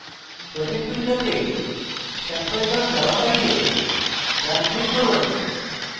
projects window sample java file ডান click করুন